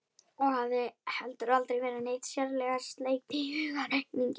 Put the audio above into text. Og hafði heldur aldrei verið neitt sérlega sleip í hugarreikningi.